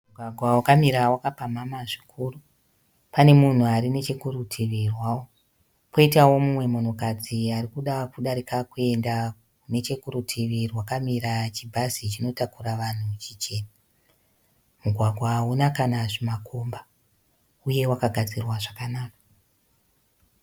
Mugwagwa wakamira wapamhamha zvikuru. Pane munhu ari nechekurutivi rwawo. Poitawo mumwe munhukadzi arikuda kudarika kuenda nechekurutivi rwakamira chibhazi chinotakura vanhu chichena. Mugwagwa hauna kana zvimakomba uyewo wakagadzirwa zvakanaka.